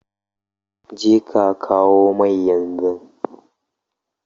Jeka kawo mai yanzu!